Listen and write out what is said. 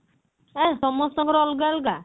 ହେ ସମସ୍ତଙ୍କର ଅଲଗା ଅଲଗା